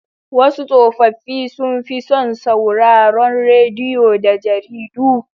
Wasu tsofaffi sun fi son sauraron rediyo da jaridu.